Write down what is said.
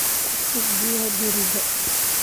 Ku shub biyo dheriga.